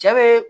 Cɛ bee